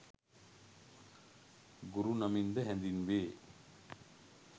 ගුරු නමින්ද හැඳින්වේ.